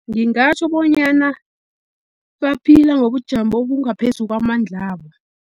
Ngingatjho bonyana baphila ngobujamo obungaphezu kwamandlabo.